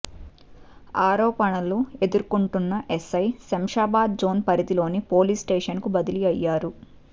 ఆరోపణలు ఎదుర్కొంటున్న SI Shamshabad zone పరిధిలోని పోలీస్ స్టేషన్ కు బదిలీ అయ్యారు